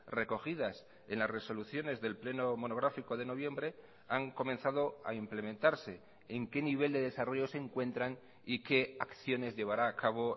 recogidas en las resoluciones del pleno monográfico de noviembre han comenzado a implementarse en qué nivel de desarrollo se encuentran y qué acciones llevará a cabo